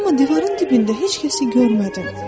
amma divarın dibində heç kəsi görmədim.